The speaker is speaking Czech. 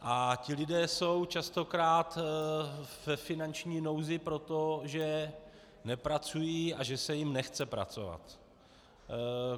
A ti lidé jsou častokrát ve finanční nouzi proto, že nepracují a že se jim nechce pracovat.